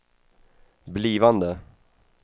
blivande